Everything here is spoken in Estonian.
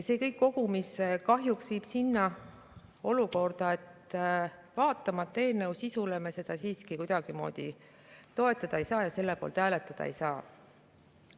See kõik kokku viib kahjuks sinna, et vaatamata eelnõu sisule, me seda siiski kuidagimoodi toetada ei saa ja selle poolt hääletada ei saa.